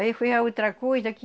Aí foi a outra coisa que...